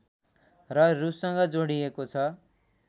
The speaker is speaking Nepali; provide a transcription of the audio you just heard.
र रुससँग जोडिएको छ